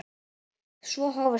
Svo hófust þeir handa.